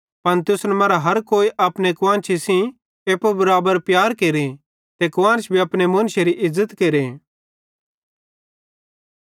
पन तुसन मरां हर कोई अपने कुआन्शी सेइं एप्पू बराबर प्यार केरे ते कुआन्श भी अपने मुन्शेरो इज़्ज़त केरे